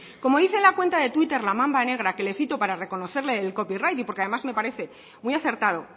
como dice la cuenta de twitter la mamba negra que le cito para reconocerle el copyright y porque además me parece muy acertado